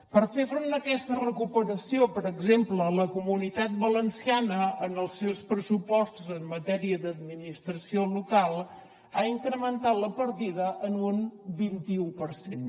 per fer front a aquesta recuperació per exemple la comunitat valenciana en els seus pressupostos en matèria d’administració local ha incrementat la partida en un vint i u per cent